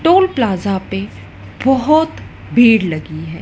Toll plaza पे बोहोत भीड़ लगी है।